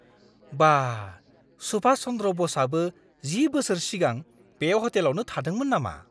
बा! सुभाष चन्द्र बसआबो 10 बोसोर सिगां बे हटेलावनो थादोंमोन नामा?